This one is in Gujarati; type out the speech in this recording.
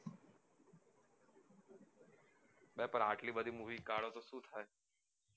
અરે આટલી બધી movie કાઢું તો સુ થાય